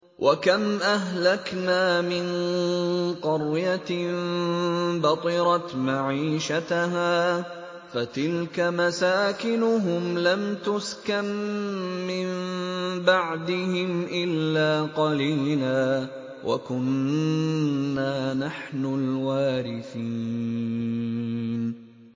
وَكَمْ أَهْلَكْنَا مِن قَرْيَةٍ بَطِرَتْ مَعِيشَتَهَا ۖ فَتِلْكَ مَسَاكِنُهُمْ لَمْ تُسْكَن مِّن بَعْدِهِمْ إِلَّا قَلِيلًا ۖ وَكُنَّا نَحْنُ الْوَارِثِينَ